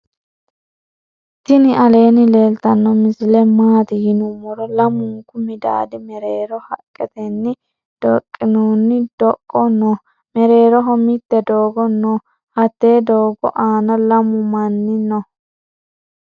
tinni aleni leltano misile matti yinumoro .lamunku midadi merero haqeteni doqinoni doqo noo. meereroho mitte dogo noo. hatte dogo anna lamu maani noo.